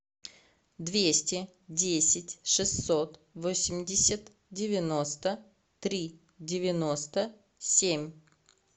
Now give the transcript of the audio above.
двести десять шестьсот восемьдесят девяносто три девяносто семь